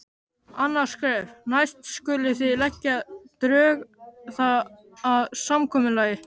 Annað skref: Næst skulið þið leggja drög að samkomulagi.